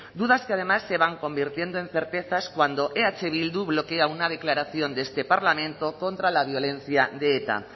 dudas que además se van convirtiendo en certezas cuando eh bildu bloquea una declaración de este parlamento contra la violencia de eta